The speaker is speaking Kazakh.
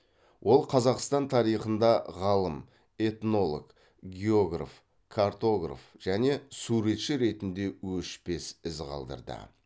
ол қазақстан тарихында ғалым этнолог географ картограф және суретші ретінде өшпес із қалдырды